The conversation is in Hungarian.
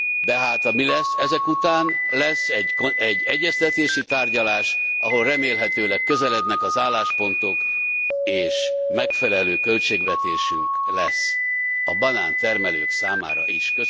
Tehát ami lesz ezek után, lesz egy egyeztetési tárgyalás, ahol remélhetőleg közelednek az álláspontok, és megfelelő költségvetésünk lesz a banántermelők számára is.